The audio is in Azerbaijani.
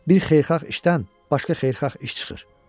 Bir xeyirxah işdən başqa xeyirxah iş çıxır.